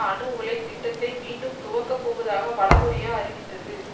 அணு உலை திட்டத்தை மீண்டும் துவக்கப்போவதாக வடகொரியா அறிவித்தது